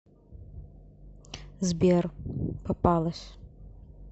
сбер попалась